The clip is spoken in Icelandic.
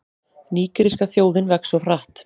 Nígeríska þjóðin vex of hratt